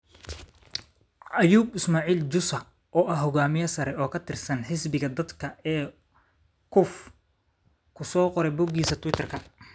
ayuu Ismaaciil Jussa, oo ah hogaamiye sare oo ka tirsan Xisbiga Dadka ee Cuf, ku soo qoray bogiisa twitter-ka.